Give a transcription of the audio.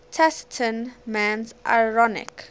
taciturn man's ironic